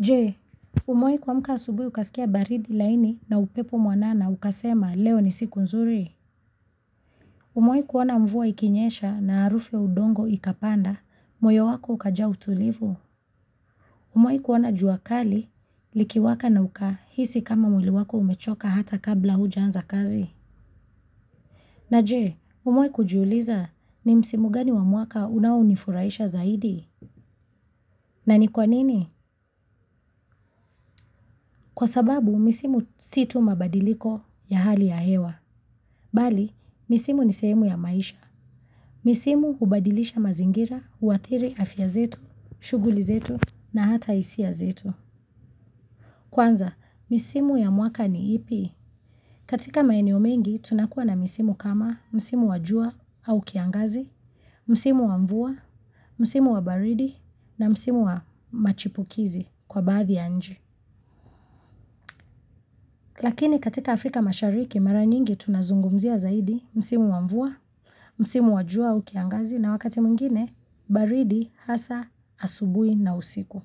Je, umewahi kuamka asubuhi ukasikia baridi laini na upepo mwanana ukasema leo ni siku nzuri? Umewahi uoana mvua ikinyesha na harufu ya udongo ikapanda moyo wako ukajaa utulivu? Umewahi kuona jua kali likiwaka na ukahisi kama mwili wako umechoka hata kabla hujaanza kazi? Na je, umewahi kujiuliza ni msimu gani wa mwaka unaonifurahisha zaidi? Na ni kwa nini? Kwasababu misimu si tu mabadiliko ya hali ya hewa Bali, misimu ni sehemu ya maisha. Misimu hubadilisha mazingira, huathiri afya zetu, shuguli zetu na hata hisia zetu. Kwanza, misimu ya mwaka ni ipi? Katika maeneo mengi, tunakua na misimu kama msimu wajua au kiangazi, msimu wamvua, msimu wabaridi na msimu wamachipukizi kwa baadh ya nchi. Lakini katika Afrika mashariki mara nyingi tunazungumzia zaidi, msimu wa mvua, msimu wa jua au kiangazi na wakati mwingine baridi hasa asubuhi na usiku.